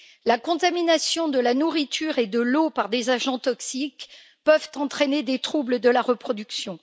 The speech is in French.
La contamination de la nourriture et de l'eau par des agents toxiques peut entraîner des troubles de la reproduction.